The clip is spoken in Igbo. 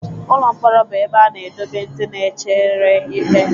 Ụlọ mkpọrọ bụ ebe a na-edobe ndị na-echere ikpe.